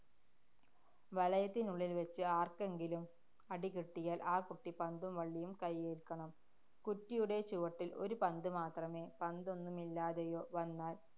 വലയത്തിനുള്ളില്‍ വച്ച് ആര്‍ക്കെങ്കിലും അടി കിട്ടിയാല്‍ ആ കുട്ടി പന്തും വള്ളിയും കൈയേല്‍ക്കണം. കുറ്റിയുടെ ചുവട്ടില്‍ ഒരു പന്ത് മാത്രമേ പന്തൊന്നുമില്ലാതെയോ വന്നാല്‍